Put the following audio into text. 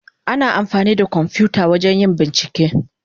Ana amfani da kwamfuta wajen yin bincike.